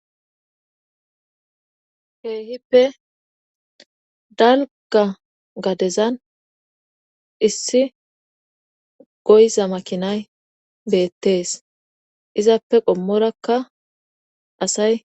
heehippe dalga gadezan issi goyza makinay beettees izappe qommorakka asay